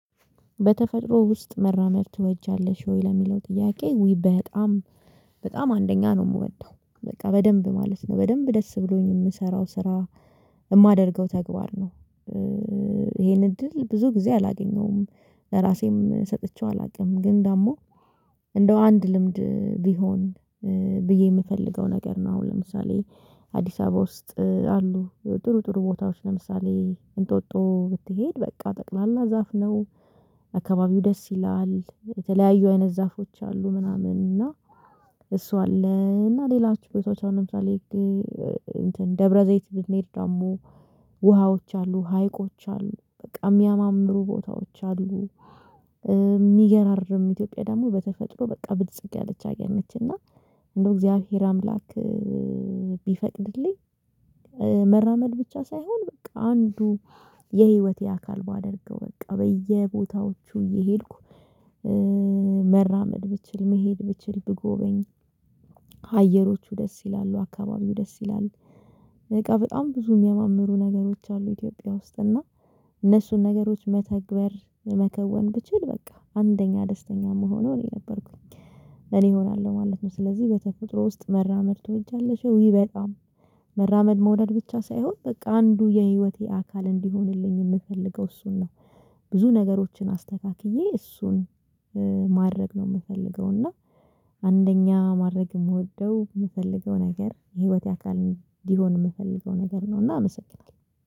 በተፈጥሮ ውስጥ መራመድ ትወጃለሽ ወይ? ለሚለው ጥያቄ ውይ በጣም በጣም አንደኛ ነው የምወደው። በቃ በደንብ ማለት ነው። በደንብ ደስ ብሎኝ የምሰራው ስራ የማደርገው ተግባር ነው። ይሄን እድል ብዙ ጊዜ አላገኘውም ለራሴም ሰጥቼው አላውቅም ግን ደግሞ እንደው አንድ ልምድ ቢሆን ብዬ የምፈልገው ነገር ነው። አሁን ለምሳሌ አዲስ አበባ ውስጥ አሉ ጥሩ ጥሩ ቦታዎች ለምሳሌ እንጦጦ ብትሄድ በቃ ጠቅላላ ዛፍ ነው። አከባቢው ደስ ይላል የተለያዩ አይነት ዛፎች አሉ ምናምን እና እሷ አለ እና ሌላዎች ቦታዎች ለምሳሌ ደብረዘይት ብንሄድ ደግሞ ውሃዎች አሉ፥ ሀይቆች አሉ በቃ የሚያማምሩ ቦታዎች አሉ። ሚገራርም ኢትዮጵያ ደግሞ በተፈጥሮ በቃ ብልጽግ ያለች ሀገር ነች እና እንደው እግዚአብሔር አምላክ ቢፈቅድልኝ መራመድ ብቻ ሳይሆን በቃ አንዱ የህይወቴ አካል ባደርገው በቃ በየቦታዎቹ እየሄድኩ መራመድ ብችል፥ መሄድ ብችል ብጎበኝ አየሮቹ ደስ ይላሉ፥ አካባቢው ደስ ይላል በቃ በጣም ብዙ የሚያማምሩ ነገሮች አሉ ኢትዮጵያ ውስጥ እና እነሱን ነገሮች መተግበር መከወን ብችል በቃ አንደኛ ደስተኛ ምሆነው እኔ ነበርኩኝ እኔ እሆናለሁ ማለት ነው። ስለዚህ በተፈጥሮ ውስጥ መራመድ ትወጃለሽ? ውይ በጣም መራመድ መውደድ ብቻ ሳይሆን በቃ አንዱ የሂወቴ አካል እንዲሆንልኝ የምፈልገው እሱን ነው። ብዙ ነገሮችን አስተካክዬ እሱን ማድረግ ነው የምፈልገው እና አንደኛ ማድረግ የምወደው የምፈልገው ነገር የህይወቴ አካል እንዲሆን የምፈልገው ነገር ነውና አመሰግናለሁ።